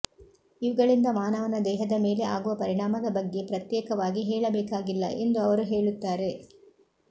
ಇವುಗಳಿಂದ ಮಾನವನ ದೇಹದ ಮೇಲೆ ಆಗುವ ಪರಿಣಾಮದ ಬಗ್ಗೆ ಪ್ರತ್ಯೇಕವಾಗಿ ಹೇಳಬೇಕಾಗಿಲ್ಲ ಎಂದು ಅವರು ಹೇಳುತ್ತಾರೆ